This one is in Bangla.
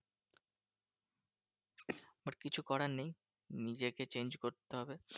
But কিছু করার নেই। নিজেকে change করতে হবে।